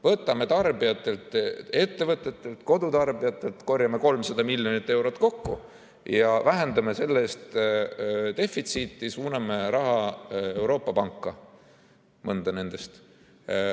Korjame tarbijatelt, ettevõtetelt ja kodutarbijatelt, 300 miljonit eurot kokku ja vähendame selle eest defitsiiti, suuname raha Euroopa panka, mõnda nendest.